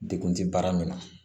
Dekun tɛ baara min na